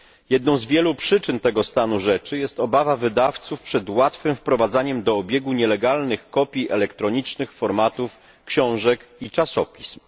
Jedną z wielu przyczyn tego stanu rzeczy jest obawa wydawców przed łatwym wprowadzaniem do obiegu nielegalnych kopii elektronicznych formatów książek i czasopism.